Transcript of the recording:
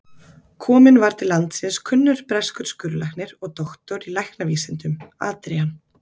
Kominn var til landsins kunnur breskur skurðlæknir og doktor í læknavísindum, Adrian